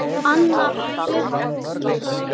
Anna Birgis.